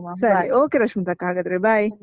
ಸರಿ, okay ರಶ್ಮಿತಕ್ಕ ಹಾಗಾದ್ರೆ bye .